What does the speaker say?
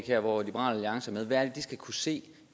her hvor liberal alliance er med hvad er det de skal kunne se